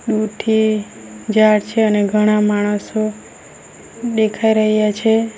પૂઠે ઝાડ છે અને ઘણા માણસો દેખાઈ રહ્યા છે.